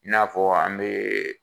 I n'afɔ an bɛ